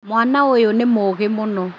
Mwana ũyũ nĩ mũgĩ mũno